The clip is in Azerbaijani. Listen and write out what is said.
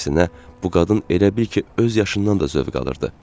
Əksinə, bu qadın elə bil ki, öz yaşından da zövq alırdı.